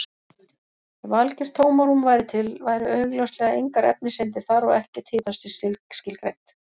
Ef algjört tómarúm væri til væru augljóslega engar efniseindir þar og ekkert hitastig skilgreint.